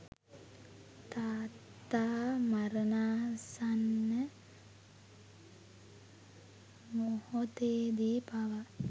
තාත්තා මරණාසන්න මොහොතේදී පවා